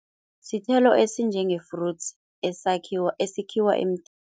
Sithelo esinjenge-fruits, esikhiwa emthini.